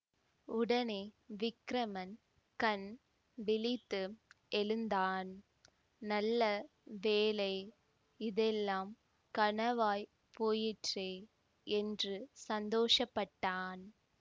உடனே விக்கிரமன் கண் விழித்து எழுந்தான் நல்ல வேளை இதெல்லாம் கனவாய்ப் போயிற்றே என்று சந்தோஷப்பட்டான்